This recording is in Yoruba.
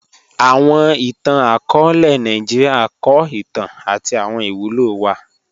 Awọn ìtàn-akọọlẹ Nàìjíríà kọ ìtàn àti awọn ìwúlò wa